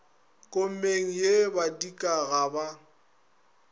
komeng ye badika ga ba